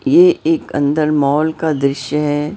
ये एक अंदर मॉल का दृश्य है।